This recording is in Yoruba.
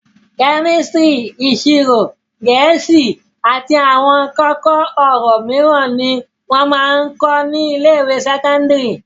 Kẹ́mísítírì, ìṣirò, Gẹ̀ẹ́sì àti àwọn kókó-ọ̀rọ̀ mìíràn ni wọ́n ń máa ń kọ́ ní ilé-ìwé sẹ́kọ́ndárì.